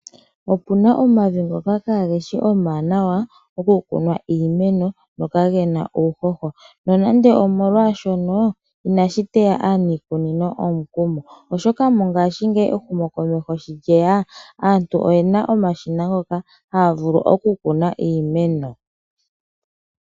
Opuna omavi ngoka kaage shi omawanawa oku kuna iimeno go kagena uuhoho. Nonando omolwaashono inashi teya aaniikunino omukumo , oshoka mongashingeyi ehumokomeho sho lyeya aantu oyena omashina ngoka haya vulu oku kuna iimeno.